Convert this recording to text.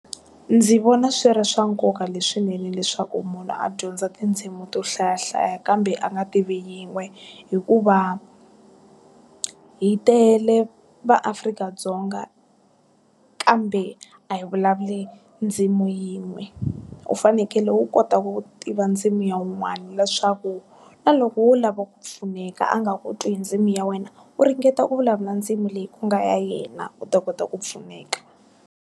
Ndzi vona swi ri swa nkoka leswinene leswaku munhu a dyondza tindzimi to hlayahlaya kambe a nga tivi yin'we. Hikuva, hi tele maAfrika-Dzonga, kambe a hi vulavuli ndzimi yin'we. U fanekele u kota ku tiva ndzimi ya un'wana leswaku, na loko u lava ku pfuneka a nga ku twi hi ndzimi ya wena, u ringeta ku vulavula ndzimi leyi ku nga ya yena u ta kota ku pfuneka.